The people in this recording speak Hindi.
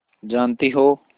जानती हो